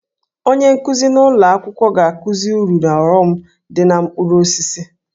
Onye nkuzi ụlọ akwụkwọ ga-akụzi uru na ọghọm dị na mkpụrụ osisi